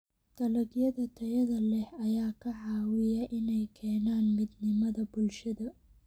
Dalagyada tayada leh ayaa ka caawiya inay keenaan midnimada bulshada.